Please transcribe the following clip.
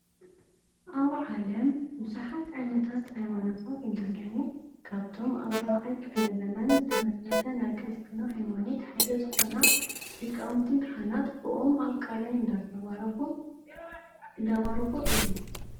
ኣብ ዓለም ብዙሓት ዓይነታት ሃይማኖታት እንትህልው ካብቶም ኣብ 4ይ ክፍለዘመን ዝተመስረተ ናይ ክርስትና ሃይማኖት ሓደ ዝኮና ሊቃውቲ ካህናት ብኦም ኣብ ቃላይ እንዳባረኩ እዮም።